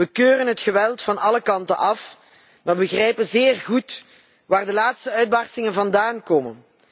We keuren het geweld van alle kanten af maar begrijpen zeer goed waar de laatste uitbarstingen vandaan komen.